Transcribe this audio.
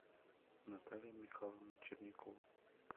наталья михайловна черникова